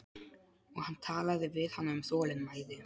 Og hann talaði við hana um þolinmæði.